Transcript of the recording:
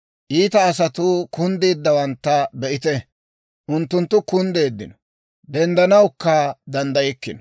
Iita asatuu kunddeeddawantta be'ite; unttunttu kunddeeddino; denddanawukka danddaykkino.